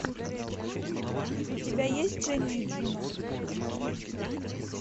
у тебя есть дженни и джуно